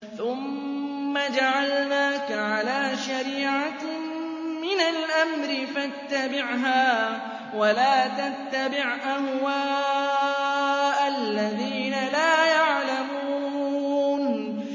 ثُمَّ جَعَلْنَاكَ عَلَىٰ شَرِيعَةٍ مِّنَ الْأَمْرِ فَاتَّبِعْهَا وَلَا تَتَّبِعْ أَهْوَاءَ الَّذِينَ لَا يَعْلَمُونَ